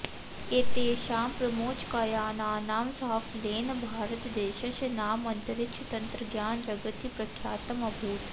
एतेषां प्रमोचकयानानां साफल्येन भारतदेशस्य नाम अन्तरिक्षतन्त्रज्ञानजगति प्रख्यातम् अभूत्